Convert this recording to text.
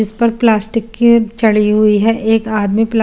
इस पर प्लास्टिक की चडी हुई है एक आदमी प्लास--